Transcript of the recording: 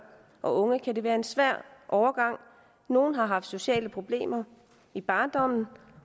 og unge kan det være en svær overgang nogle har haft sociale problemer i barndommen